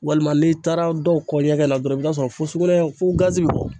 Walima n'i taara dɔw kɔ ɲɛgɛn na dɔrɔn i bɛ taa sɔrɔ fo sugunɛ fo gazi bɔ